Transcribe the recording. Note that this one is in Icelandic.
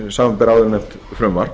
samanber áðurnefnt frumvarp